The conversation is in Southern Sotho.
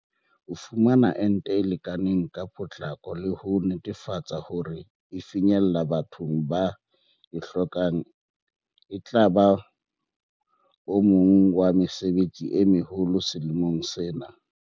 Ho fumana ente e lekaneng ka potlako le ho netefatsa hore e finyella bathong ba e hlokang etlaba o mong wa mesebetsi e meholo selemong sena.